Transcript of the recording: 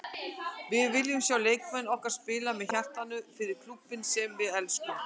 Við viljum sjá leikmenn okkar spila með hjartanu- fyrir klúbbinn sem við elskum.